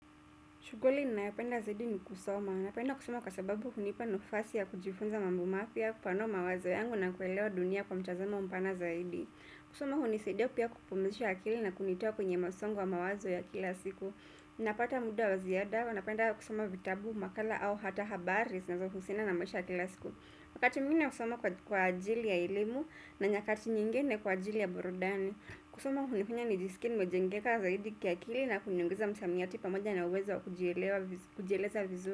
Shughuli ninayopenda zaidi ni kusoma. Napenda kusoma kwa sababu hunipa nafasi ya kujifunza mambo mapya, kupanua mawazo yangu na kuelewa dunia kwa mtazamo mpana zaidi. Kusoma hunisaidia pia kupumzisha akili na kunitoa kwenye msongo wa mawazo ya kila siku. Unapata muda wa ziada huwa napenda kusoma vitabu, makala au hata habari zinazohusiana na maisha ya kila siku wakati mwingine nasoma kwa ajili ya elimu na nyakati nyingine kwa ajili ya burudani. Kusoma hunifanya nijisikie nimejengeka zaidi kiakili na kuniongeza msamiati pamoja na uwezo wa kujieleza vizuri.